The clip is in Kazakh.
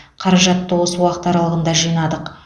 қаражатты осы уақыт аралығында жинадық